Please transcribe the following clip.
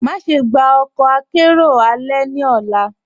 Máṣẹ̀ gbà ọkọ àkẹ̀rẹo alẹ̀ ní ọ̀là.